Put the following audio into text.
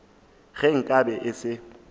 ge nka be e se